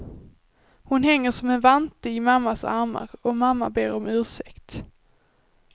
Hon hänger som en vante i mammas armar och mamma ber om ursäkt.